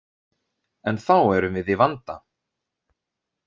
En þá erum við í vanda.